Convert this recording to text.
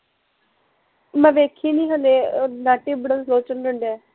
ਮੈਂ ਵੇਖੀ ਨੀ ਹਲੇ ਨੈਟ ਈ ਬੜਾ ਸਲੋ ਚੱਲਣ ਡੀਆ ਐ